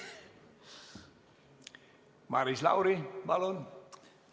Maris Lauri, palun!